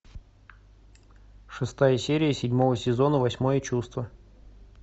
шестая серия седьмого сезона восьмое чувство